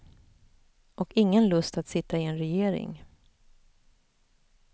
Och ingen lust att sitta i en regering.